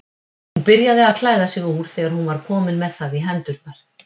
Hún byrjaði að klæða sig úr þegar hún var komin með það í hendurnar.